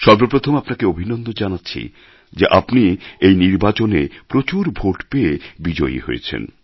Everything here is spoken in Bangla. সর্বপ্রথম আপনাকে অভিনন্দন জানাচ্ছি যে আপনি এই নির্বাচনে প্রচুর ভোট পেয়ে বিজয়ী হয়েছেন